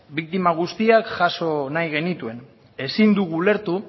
biktima guztiak jaso nahi genituen ezin dugu ulertu